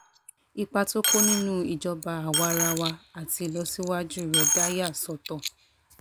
ipa tó kó nínú ìjọba àwa-ara-wa àti ìlọsíwájú rẹ̀ dá a yà sọ́tọ̀